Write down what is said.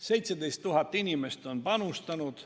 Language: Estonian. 17 000 inimest on panustanud.